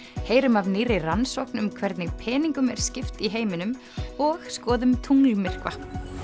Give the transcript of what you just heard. heyrum af nýrri rannsókn um hvernig peningum er skipt í heiminum og skoðum tunglmyrkva